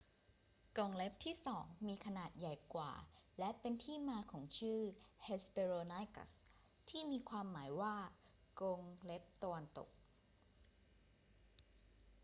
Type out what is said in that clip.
กรงเล็บที่สองมีขนาดใหญ่กว่า และเป็นที่มาของชื่อ hesperonychus ที่มีความหมายว่า กรงเล็บตะวันตก